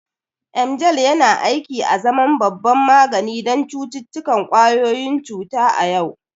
Emgyl yana aiki azaman babban magani don cututtukan ƙwayoyin cuta a yau.